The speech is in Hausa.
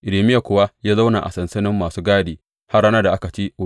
Irmiya kuwa ya zauna a sansanin masu gadi har ranar da aka ci Urushalima da yaƙi.